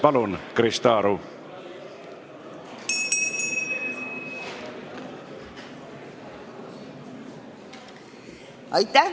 Palun, Krista Aru!